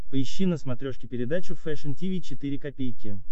поищи на смотрешке передачу фэшн ти ви четыре ка